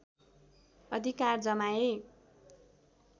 अधिकार जमाए